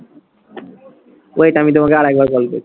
wait আমি তোমাকে আরেকবার call করছি।